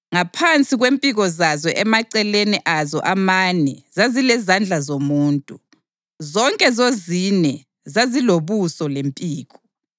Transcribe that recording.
Ngaphansi kwempiko zazo emaceleni azo amane zazilezandla zomuntu. Zonke zozine zazilobuso lempiko,